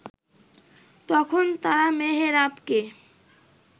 তখন তারা মেহেরাবকে